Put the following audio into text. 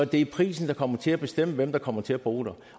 det er prisen der kommer til at bestemme hvem der kommer til at bo der